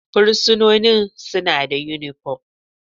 Fursunonin suna da unipom.